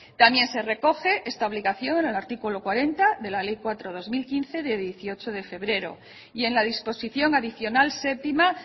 también se recoge esta obligación en el artículo cuarenta de la ley cuatro barra dos mil quince de dieciocho de febrero y en la disposición adicional séptima